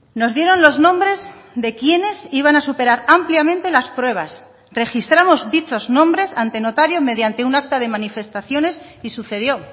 nos dieron los nombres de quienes iban a superar ampliamente las pruebas registramos dichos nombres ante notario mediante un acta de manifestaciones y sucedió